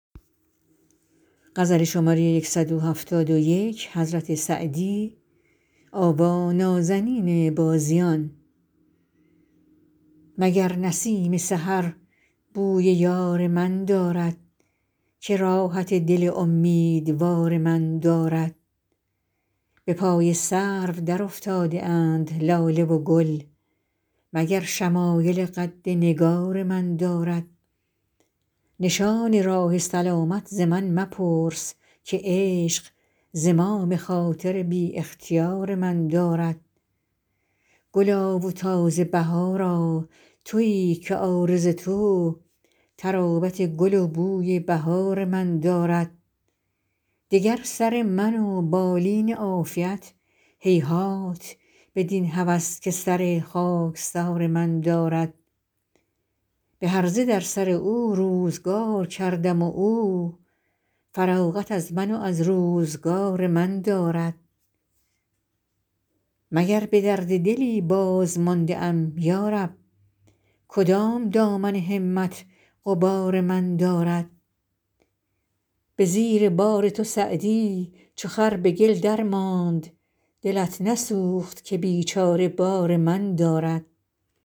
مگر نسیم سحر بوی یار من دارد که راحت دل امیدوار من دارد به پای سرو درافتاده اند لاله و گل مگر شمایل قد نگار من دارد نشان راه سلامت ز من مپرس که عشق زمام خاطر بی اختیار من دارد گلا و تازه بهارا تویی که عارض تو طراوت گل و بوی بهار من دارد دگر سر من و بالین عافیت هیهات بدین هوس که سر خاکسار من دارد به هرزه در سر او روزگار کردم و او فراغت از من و از روزگار من دارد مگر به درد دلی بازمانده ام یا رب کدام دامن همت غبار من دارد به زیر بار تو سعدی چو خر به گل درماند دلت نسوخت که بیچاره بار من دارد